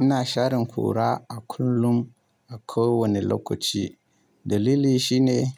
Ina sharen kura a kullum a kowane lokaci. Dalili shine